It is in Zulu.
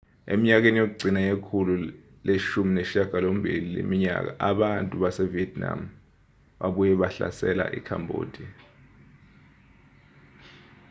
eminyakeni yokugcina yekhulu lama-18 leminyaka abantu basevietnam babuye bahlasela ikhambodiya